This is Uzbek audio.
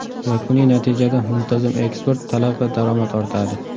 Yakuniy natijada muntazam eksport, talab va daromad ortadi.